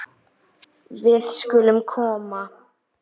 Við skulum koma!